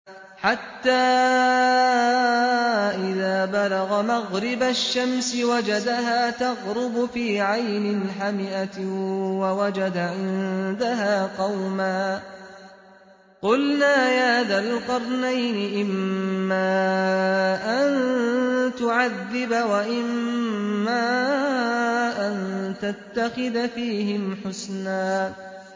حَتَّىٰ إِذَا بَلَغَ مَغْرِبَ الشَّمْسِ وَجَدَهَا تَغْرُبُ فِي عَيْنٍ حَمِئَةٍ وَوَجَدَ عِندَهَا قَوْمًا ۗ قُلْنَا يَا ذَا الْقَرْنَيْنِ إِمَّا أَن تُعَذِّبَ وَإِمَّا أَن تَتَّخِذَ فِيهِمْ حُسْنًا